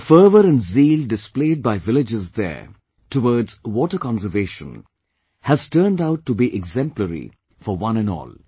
The fervour & Zeal displayed by villagers there towards water conservation has turned out to be exemplary for one & all